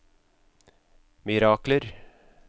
mirakler